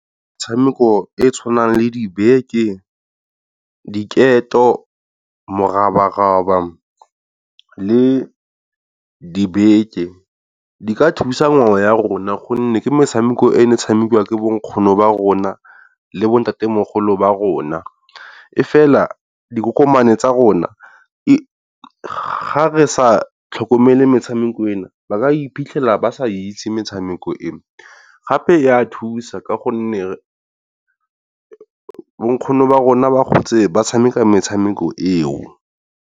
Metshameko e tshwanang le dibeke, diketo, morabaraba le dibeke di ka thusa ngwe ya rona gonne ke metshameko e ne tshamekiwa ke bo nkgono ba rona le bo ntatemogolo ba rona. Efela dikokomane tsa rona e ga re sa tlhokomele metshameko e na ba ka iphitlhela ba ke sa itse metshameko e, gape e a thusa ka gonne bo nkgono ba rona ba gotse ba tshameka metshameko e o.